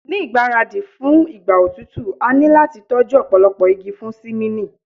Ni igbaradi fun igba otutu a lo lati tọju ọpọlọpọ igi fun simini